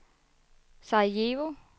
Sarajevo